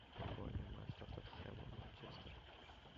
футбольный матч тоттенхэма манчестер